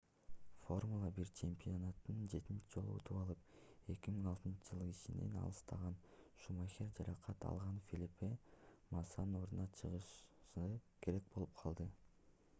формула-1 чемпионатын 7 жолу утуп алып 2006-ж ишинен алыстаган шумахер жаракат алган фелипе массанын ордуна чыгышы керек болуп калды